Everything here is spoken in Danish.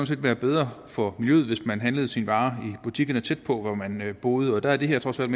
set være bedre for miljøet hvis man handlede sine varer i butikkerne tæt på hvor man boede og der er det her trods alt